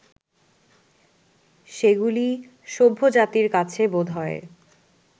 সেগুলি সভ্যজাতির কাছে বোধহয়